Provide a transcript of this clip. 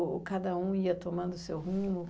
Ou cada um ia tomando o seu rumo?